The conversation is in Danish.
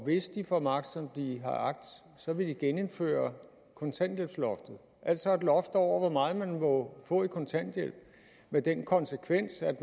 hvis de får magt som de har agt vil de genindføre kontanthjælpsloftet altså et loft over hvor meget man må få i kontanthjælp med den konsekvens at